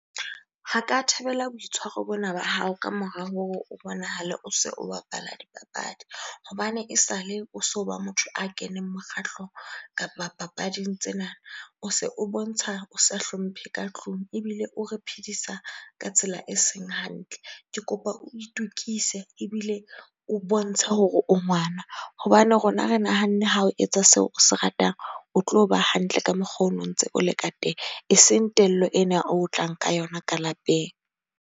Ha ka thabela boitshwaro bona ba hao ka mora hore o bonahale o se o bapala dipapadi. Hobane esale o so ba motho a keneng mokgahlong kapa papading tsena. O se o bontsha o sa hlomphe ka tlung ebile o re phedisa ka tsela eseng hantle. Ke kopa o itukise ebile o bontshe hore o ngwana. Hobane rona re nahanne ha o etsa seo o se ratang, o tlo ba hantle ka mokgo ono ntse o le ka teng, eseng tello ena eo o tlang ka yona ka lapeng.